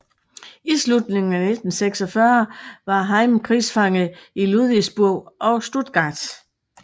I slutningen af 1946 var Heim krigsfange i Ludwigsburg og Stuttgart